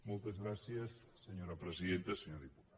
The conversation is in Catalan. moltes gràcies senyora presidenta senyor diputat